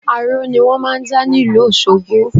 Aró ni wọ́n máà ń dá ní ìlú Òṣogbọ